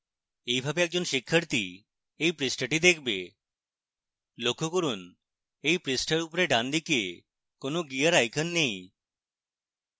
এইভাবে একজন শিক্ষাথী এই পৃষ্ঠাটি দেখবে